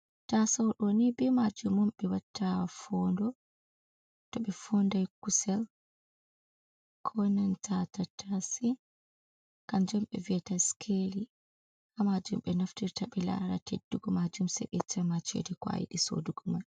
Tasaudoni be majum um ɓe watta fondo, toɓe fondai kusel ko nanta tattase. Kanjum ɓe viyeta skeli. Ha majum ɓe naftirta be lara teddugo majum seɓe yetcama cede ko ayidi sodugu mai.